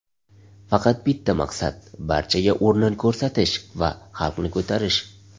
Faqat bitta maqsad barchaga o‘rnin ko‘rsatish va xalqni ko‘tarish”.